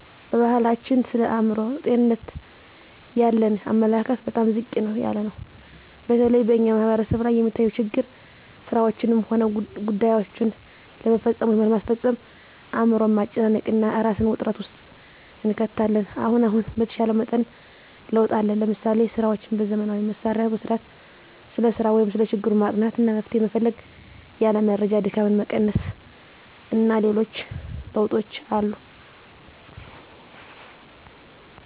በባሕላችን ስለ አእምሮ ጤንነት ያለን አመለካከት በጣም ዝቅ ያለ ነው። በተለይ በእኛ ማሕበረሰብ ላይ የሚታየው ችግር ስራዎችንም ሆነ ጉዳይዎችን ለመፈፀም ወይም ለማስፈፀም አእምሮን ማጨናነቅ እና እራስን ውጥረት ውስጥ እንከታለን። አሁን አሁን በተሻለ መጠን ለውጥ አለ። ለምሳሌ፦ ስራዎችን በዘመናዊ መሣሪያ መሥራት፣ ስለ ሰራው ወይም ሰለ ችግሩ ማጥናት አና መፍትሔ መፈለግ፣ ያለ መረጃ ድካምን መቀነስ አና ሌሎችም ለውጦች አሉ።